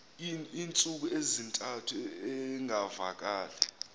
iintsuku ezintathu engavakali